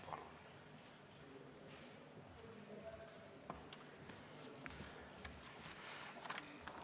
Palun!